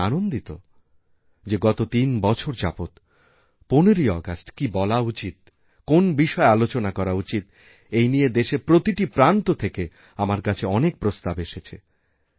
আমি আনন্দিত যে গত তিন বছর যাবৎ ১৫ই আগস্ট কি বলা উচিত কোন বিষয় আলোচনা করাউচিত এই নিয়ে দেশের প্রতিটি প্রান্ত থেকে আমার কাছে অনেক প্রস্তাব এসেছে